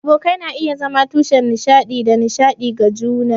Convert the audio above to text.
Abokai na iya zama tushen nishaɗi da nishaɗi ga juna.